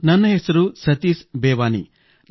ನನ್ನ ಹೆಸರು ಸತೀಶ್ ಬೇವಾನಿ